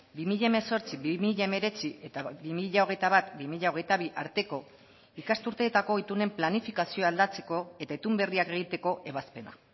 bi mila hemezortzi bi mila hemeretzi eta bi mila hogeita bat bi mila hogeita bi arteko ikasturteetako itunen planifikazioa aldatzeko eta itun berriak egiteko ebazpena